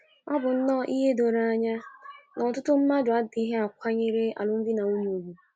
O bụ nnọọ ihe doro anya na ọtụtụ mmadụ adịkwaghị akwanyere alụmdi na nwunye ùgwù.